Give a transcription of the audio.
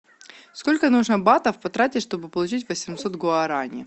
сколько нужно батов потратить чтобы получить восемьсот гуарани